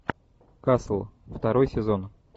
касл второй сезон